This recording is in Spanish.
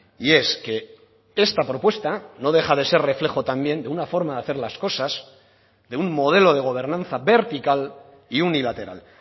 y es que esta propuesta no deja de ser reflejo también de una forma de hacer las cosas de un modelo de gobernanza vertical y unilateral